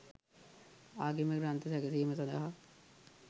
ආගමික ග්‍රන්ථ සැකසීම සඳහා